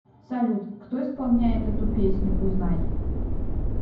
салют кто исполняет эту песню узнай